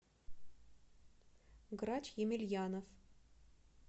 грач емельянов